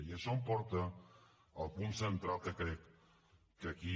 i això em porta al punt central que aquí